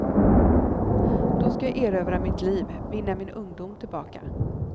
Då ska jag erövra mitt liv, vinna min ungdom tillbaka.